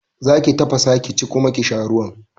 Zaki tafasa ki ci kuma ki sha ruwan